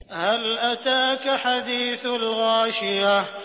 هَلْ أَتَاكَ حَدِيثُ الْغَاشِيَةِ